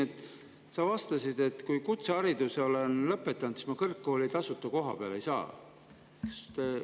Sa, et kui ma kutsehariduse olen, siis ma kõrgkooli tasuta koha peale ei saa.